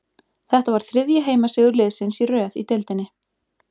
Þetta var þriðji heimasigur liðsins í röð í deildinni.